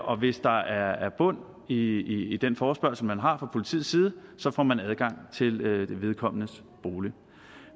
og hvis der er bund i i den forespørgsel man har fra politiets side så får man adgang til vedkommendes bolig